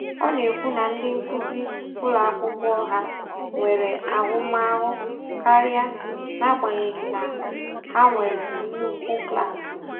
Ọ na-ekwu na ndị nkuzi ụlọ akwụkwọ ọha nwere ahụmahụ karịa, n'agbanyeghị na ha nwere nnukwu klaasị.